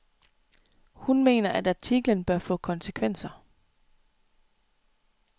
Hun, mener, at artiklen bør få konsekvenser.